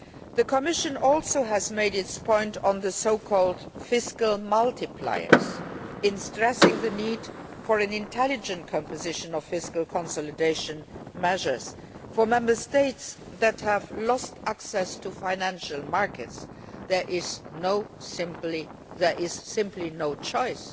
The Commission has also made its point on the so called fiscal multipliers in stressing the need for an intelligent composition of fiscal consolidation measures. For Member States that have lost access to financial markets, there is simply no choice